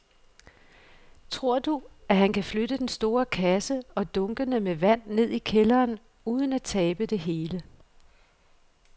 Tror du, at han kan flytte den store kasse og dunkene med vand ned i kælderen uden at tabe det hele?